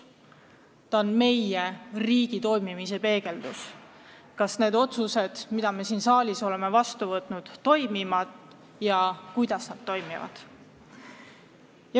Ta on meie riigi toimimise peegeldus, tänu millele me saame teada, kuidas need otsused, mis me siin saalis oleme vastu võtnud, toimivad ja kas nad üldse toimivad.